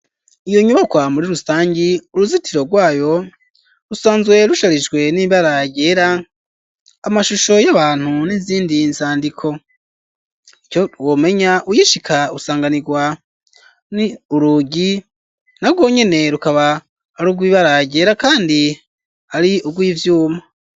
Iyo nyubakwa muri rusangi uruzitiro rwayo rusanzwe rusharijwe n'imbaragera amashusho y'abantu n'izindi nsandiko ito womenya uyishika usanganirwa ni urugi na rwo nyene rukaba ari urw ibearagera, kandi ari ugwia vyuma.